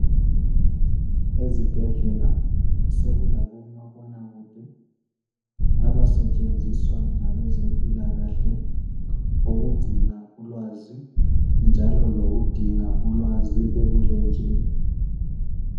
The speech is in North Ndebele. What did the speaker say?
Ezibhedlela sekulabomabonakude abasetshenziswa ngabezempilakahle ukugcina ulwazi njalo lokudinga ulwazi ebulenjini.